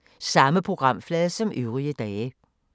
Samme programflade som øvrige dage